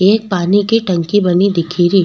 एक पानी की टंकी बनी दिखेरी।